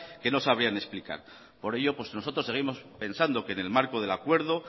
que no sabría explicar por ello nosotros seguimos pensando que en el marco del acuerdo